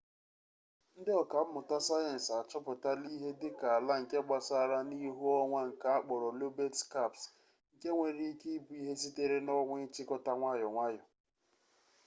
ndị ọka mmụta sayensị achọpụtala ihe dịka ala nke gbasara n'ihu onwa nke akpọrọ lobet skaps nke nwere ike ịbụ ihe sitere n'ọnwa ịchịkọta nwayọ nwayọ